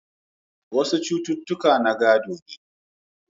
Wasu cututtuka na gado ne.